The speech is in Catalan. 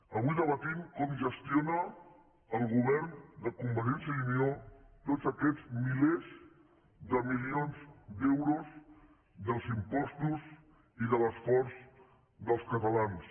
avui debatem com gestiona el govern de convergència i unió tots aquests milers de milions d’euros dels impostos i de l’esforç dels catalans